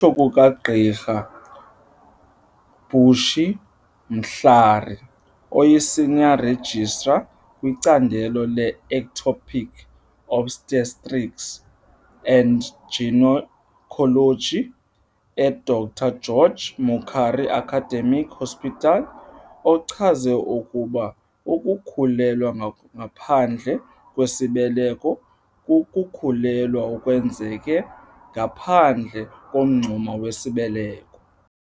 Ngokutsho kukaGqr Bushy Mhlari, oyi-Senior Registrar kwicandelo le-Ectopic Obstetrics and Gynaecology e-Dr George Mukhari Academic Hospital, ochaze ukuba ukukhulelwa ngaphandle kwesibeleko kukukhulelwa okwenzeke ngaphandle komngxuma wesibeleko.